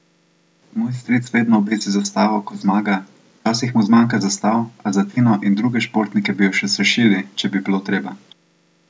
Moj stric vedno obesi zastavo, ko zmaga, včasih mu zmanjka zastav, a za Tino in druge športnike bi jo še sešili, če bi bilo treba!